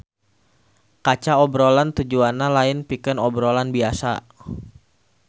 Kaca obrolan tujuanna lain pikeun obrolan biasa